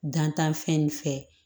Dantan fɛn nin fɛ